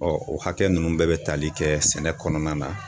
Ɔ o hakɛ nunnu bɛɛ be tali kɛ sɛnɛ kɔnɔna na